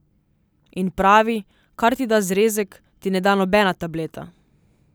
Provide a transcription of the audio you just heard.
In pravi, kar ti da zrezek, ti ne da nobena tableta.